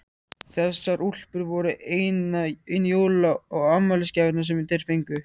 Þessar úlpur voru einu jóla- og afmælisgjafirnar sem þeir fengu.